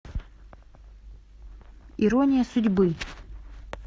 ирония судьбы